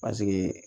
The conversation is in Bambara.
Paseke